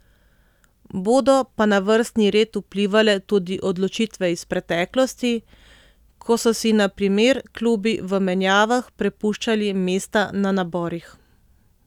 Bodo pa na vrstni red vplivale tudi odločitve iz preteklosti, ko so si na primer klubi v menjavah prepuščali mesta na naborih.